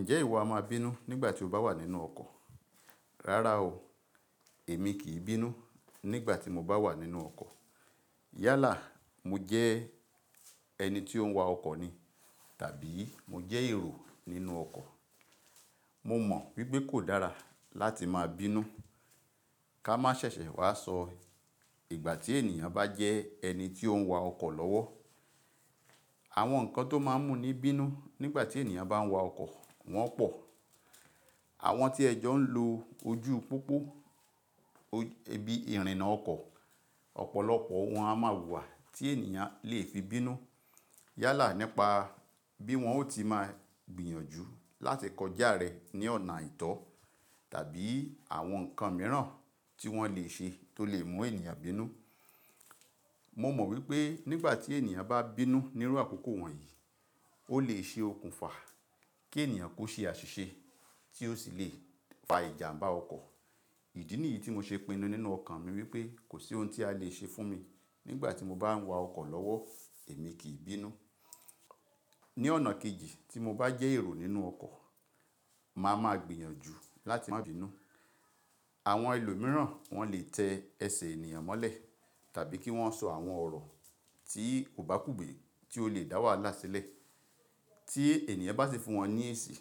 Ǹjẹ́ ìwọ a máa bínú nígbà tí o bá wà nínú ọkọ̀? Rárá o, èmi kì í bínú nígbà tí mo bá wà nínú ọkọ̀. Yálà mo jẹ́ ẹni tí ó ń wa ọkọ̀ ni tàbí mo jẹ́ èrò nínú ọkọ̀. Mo mọ̀ wípé kò dára láti máa bínú. Ká má ṣe ṣẹ̀ṣẹ̀ wá sọ ìgbà tí ènìyàn bá jẹ ẹni tí ó ń wa ọkọ̀ lọ́wọ́. Àwọn nǹkan tó máa ń mú ní bínú nígbà tí ènìyàn bá ń wa ọkọ̀ wọ́n pọ̀. Àwọn tí ẹjọ́ ń lo ojú púpọ̀ bí i ìrìnnà ọkọ̀, ọ̀pọ̀lọpọ̀ won a máa wùwà tí ènìyàn le fi bínú. Yálà nípa bí wọ́n ó ti máa gbìyànjú láti kọjá rẹ ní ọ̀nà aìtọ̀ tàbí àwọn nǹkan mìíràn tí wọ́n le ṣe tó lè mú ènìyàn bínú. Mo mọ̀ wípé nígbà tí ènìyàn bá bínú ní irú àkókò wọ̀nyí, ó lè ṣe okùnfà kí ènìyàn ko ṣe àṣìṣe tí ó sì le fa ìjàmbá ọkọ̀. Ìdí nìyí tí mo ṣe pinu nínú ọkàn mi wípé kò sí ohun tí a le ṣe fún mi nígbà tí mo bá ń wa ọkọ̀ lọ́wọ́ èmi kì í bínú. Ni ọ̀nà kejì tí mo bá jẹ́ èrò nínú ọkọ̀, màá ma gbìyànjú láti má bínú. Àwọn ẹlòmíràn wọ́n le tẹ ẹsẹ̀ ènìyàn mọ́lẹ̀ tàbí kí wọ́n sọ àwọn ọ̀rọ̀ tí ò bá kúgbẹ̀ tí ó lè dá wàhálà sílẹ̀ tí ènìyàn bá sì fún wọn ní èsì.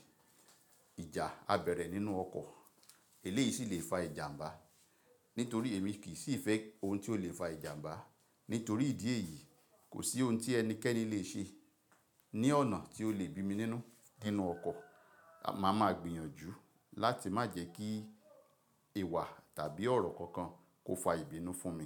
Ìjà á bẹ̀rẹ̀ nínú ọkọ̀. Èléyìí sì le fa ìjàmbá. Nítorí èmi kì í sì fẹ́ ohun tí ó lè fa ìjàmbá. Nítorí ìdí èyí, kò sí ohun tí ẹnikẹ́ni le ṣe ní ọ̀nà tí ó lè bí mi nínú dínú ọkọ̀. Màá ma gbìyànjú láti má jẹ́ kí ìwà tàbí ọ̀rọ̀ kankan kó fa ìbínú fún mi.